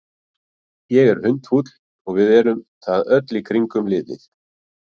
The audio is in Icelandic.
Ég er hundfúll og við erum það öll í kringum liðið.